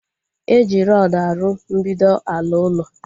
E ji rọdu arụ mbido ala ulo